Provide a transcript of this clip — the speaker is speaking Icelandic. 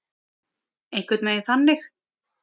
Einhvern veginn þannig.